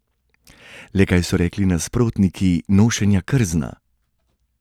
Le kaj so rekli nasprotniki nošenja krzna?